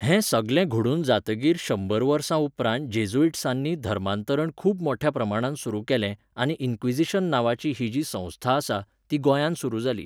हें सगलें घडून जातकीर शंबर वर्सांउपरांत जेझुइट्सांनी धर्मांतरण खूब मोठ्या प्रमाणांत सुरू केलें आनी इन्क्विझिशन नांवाची ही जी संस्था आसा, ती गोंयांत सुरू जाली